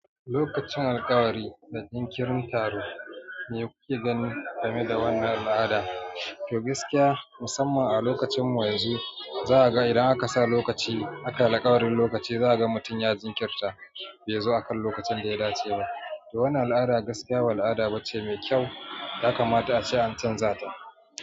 Lokacin alƙawari da jinkirin taro me kuke ganin game da wannan al'ada? To gaskiya musamman a lokacinmu yanzu za a ga idan aka sa lokaci aka alƙawarin lokaci za a ga mutum ya jinkirta bai zo akan lokacin da ya dace ba. To wannan al'ada gaskiya ba al'ada bace mai kyau yakamata ace an canza ta.